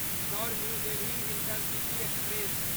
Indore new Delhi intercity express